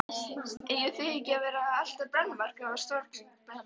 Eigið þið ekki að vera að elta brennuvarga og stórglæpamenn?